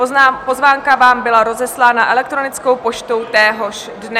Pozvánka vám byla rozeslána elektronickou poštou téhož dne.